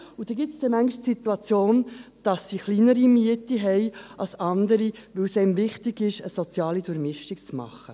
So führt dies manchmal zur Situation, dass diese tieferen Mieten haben als andere, weil es einem wichtig ist, eine soziale Durchmischung zu haben.